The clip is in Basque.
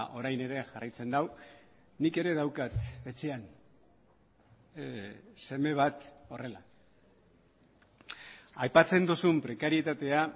orain ere jarraitzen du nik ere daukat etxean seme bat horrela aipatzen duzun prekarietatea